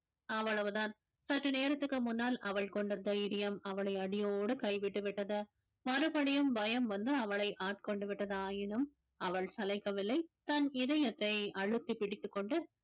அவ்வளவுதான் சற்று நேரத்துக்கு முன்னால் அவள் கொண்ட தைரியம் அவளை அடியோடு கைவிட்டு விட்டது மறுபடியும் பயம் வந்து அவளை ஆட்கொண்டு விட்டதாயினும் அவள் சளைக்கவில்லை தன் இதயத்தை அழுத்தி பிடித்துக் கொண்டு